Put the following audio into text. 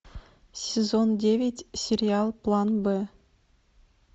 сезон девять сериал план б